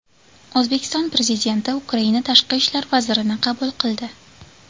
O‘zbekiston Prezidenti Ukraina tashqi ishlar vazirini qabul qildi.